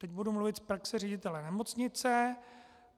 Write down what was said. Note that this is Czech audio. Teď budu mluvit z praxe ředitele nemocnice.